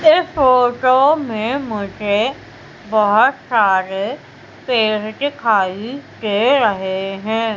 इस फोटो में मुझे बहुत सारे पेड़ दिखाई दे रहे हैं।